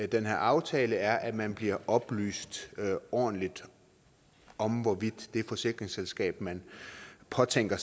den her aftale er at man bliver oplyst ordentligt om hvorvidt det forsikringsselskab man påtænker